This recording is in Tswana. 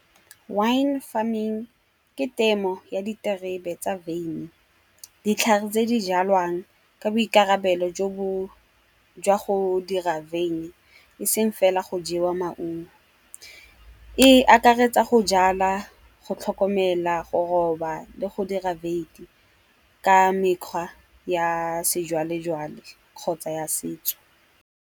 Wine farming ke temo ya diterebe tsa vein. Ditlhare tse di jalwang ke boikarabelo jwa go dira vein eseng fela go jewa maungo. E akaretsa go jala, go tlhokomela, go roba le go dira vein ka mekgwa ya sejwalejwale kgotsa ya setso.